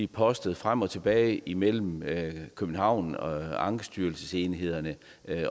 postes frem og tilbage imellem københavn og ankestyrelsesenhederne